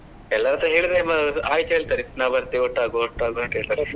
ಎಲ್ಲರತ್ರ ಹೇಳಿದ್ರೆ ಅಯ್ತು ಹೇಳ್ತಾರೆ ನ ಬರ್ತೇನೆ ಒಟ್ಟಾಗುವ ಒಟ್ಟಾಗುವ .